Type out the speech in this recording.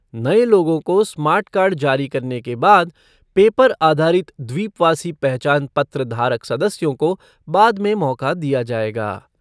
नए लोगों को स्मार्ट कार्ड जारी करने के बाद पेपर आधारित द्वीपवासी पहचान पत्र धारक सदस्यों को बाद में मौका दिया जाएगा।